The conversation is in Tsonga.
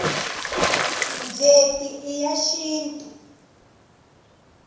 njeti i ya xintu